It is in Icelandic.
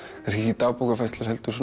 kannski ekki dagbókarfærslur heldur